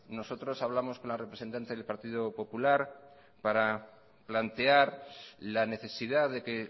nosotros hablamos con la representante del partido popular para plantear la necesidad de que